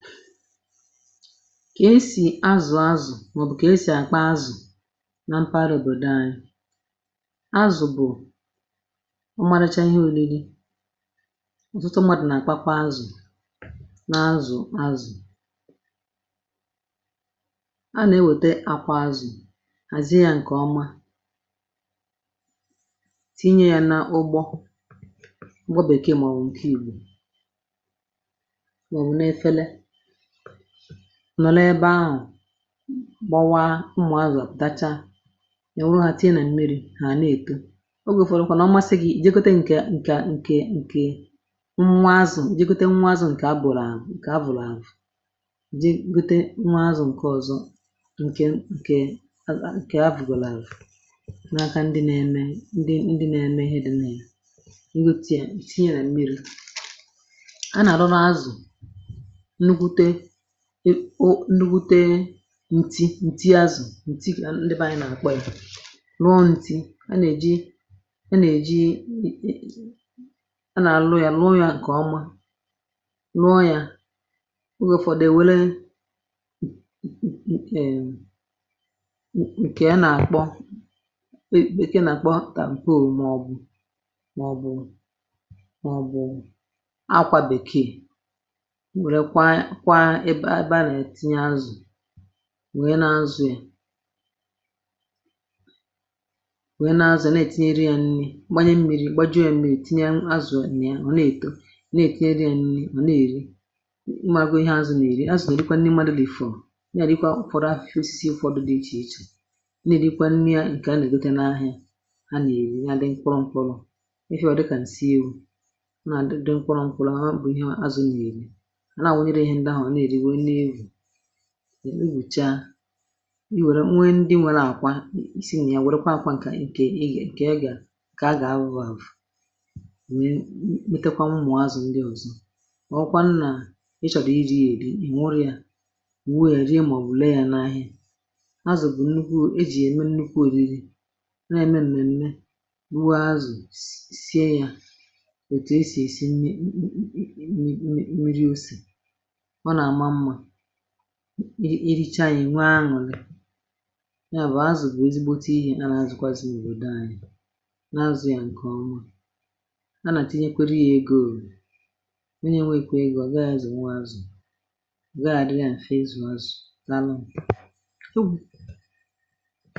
kà esì azụ̀ azụ̀[eh]mà ọ̀ bụ̀ kà esì àkpà azụ̀ na mpaghara òbòdo anyị[um]azụ̀ bụ̀ ụmụ̀rụ̀chȧ ihe ȯriri ọ̀tụtụ ṁmȧdụ̀ nà àkpà kpa azụ̀[ah]na azụ̀ azụ̀ a nà-ewèta akpà azụ̀ àzie yȧ ǹkè ọma tinye yȧ nà ugbȯụgbọ bèkeè mà ọ̀ bụ̀ ntinyò nọlọ ebe ahụ̀ gbawa ụmụ̀ azụ̀ àdacha ya wụrụ ha[eh]tinye nà mmiri hà na-ètu ogè ùfọdụkwà n’ọ masị gị jeekote ǹkè ǹkè ǹkè ǹkè nwa azụ̀[um]jeekote nwa azụ̀ ǹkè abụ̀rà àmụ̀ ǹkè avụ̀rụ̀ avụ̀rụ̀ jeekote nwa azụ̀ ǹkè azụ̀ ǹkè ọzọ̇ ǹkè ǹkè azụ̀ ǹkè avụ̀rụ̀ avụ̀rụ̀[eh]nà-aka ndi nà-eme ndi ndi nà-eme ihe dị nà-eja nghotì ya ǹtinye nà mmiri ndi bute ǹtị̀ ǹtị azụ̀[ah]ǹtị gà ndi bụ̀ anyị nà-àkpọ ị̀ rụọ ntị̀ a nà-èji a nà-èji a nà-àlụ ya rụọ ya ǹkè ọma[um]rụọ ya ogè ụ̀fọdụ èwere ǹkè ǹkè a nà-àkpọ bekee nà-àkpọ taà m̀pe òmùmù[eh]mọọbụ̀ mọ̀bụ̀ akwȧ bèkee ǹwee nà-azụ̀ ya wee nà-azụ̀ ya na-ètinyere yȧ nni gbanye mmi̇ri̇ gbajoẹ̇m̀gbè ètinye azụ̀ nà yà mà ọ̀ nèèto nà èknye nni̇ nọ̀ nà-èri ụmụ̀agwọ̇ ihe azụ̀ nà èri[um]azụ̀ nà èrikwa nni madụ̇ dị̀ fụ̀ọ ya àrii kwa ụ̀fọdụ afọ̀ fụsụsụ ụ̀fọdụ dị̇ ichè ichè nà-èrikwa nni ǹkè a nà-èdote n’ahì[eh]a nà-èri ya dị ǹkwọrọ̇ ǹkwọrọ̇ efi wọ̀ dịkà ǹsị ewu̇ nà-àdịdị ǹkwọrọ̇ ǹkwọrọ̇ bụ̀ ihe azụ̀ ya èri eghùcha[ah]i nwèrè nwe ndị nwėrė àkwa isi nà ya wèrekwa àkwa ǹkè ịgà ǹkè ya gà ǹkè a gà-awụ̇vọ̇[um]à bù metakwa mmụ̀ọ azụ̀ ndị ọ̀zọ màọwụ kwa nnà ị chọ̀rọ̀ iri yà èri ì nwụrụ ya ùwo yà rie[eh]màọbụ̀ lee yȧ n’ahịa azụ̀ bụ̀ nnukwu e jì ème nnukwu òriri na-ème m̀mème[ah]rụọ azụ̀ sie yȧ ètù e sì èsi nne ì nri osè ị richa ya nwee anwụlị ya bụ̀ azụ̀ bụ̀[um]ezigbote ihe a na-azụ̀kwazị̀ nwede anyị̇ n'azụ̇ ya ǹkè ọnwa a nà tinyekweru ya egȯ nwenye nwee[eh]kà ịgọ̇ gaa azụ̀ nwaazụ̀ gharị ya mfe ịzụ̀ azụ̀dalu m ogu̇